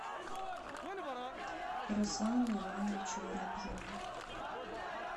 руслану ивановичу воробьеву